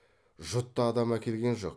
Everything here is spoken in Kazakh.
жұтты адам әкелген жоқ